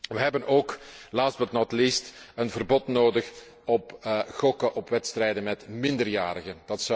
We hebben ook, last but not least een verbod nodig op gokken op wedstrijden met minderjarigen.